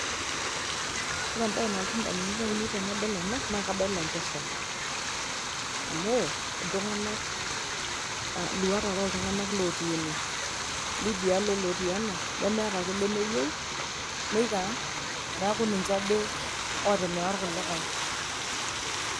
ore embaye nalotu indamunot ainei tenadol ena naa kadol enkesha amu iltung'anak uh iluat are oltung'anak lotii ene lidialo olotii ena nemeeta ake lemeyieu neiko aa neku ninche ade otimira irkulikae.